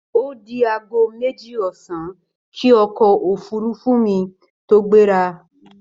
Ó di aago méjì ọ̀sán kí ọkọ̀ òfúrufú mi tó gbéra